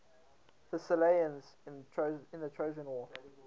thessalians in the trojan war